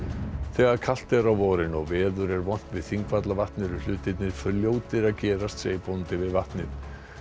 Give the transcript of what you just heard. þegar kalt er á vorin og veður er vont við Þingvallavatn eru hlutirnir fljótir að gerast segir bóndi við vatnið